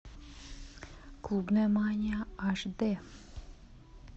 клубная мания аш дэ